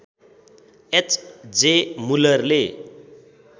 H J मुलरले